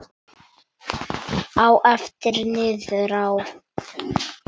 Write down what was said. Á eftir niðrá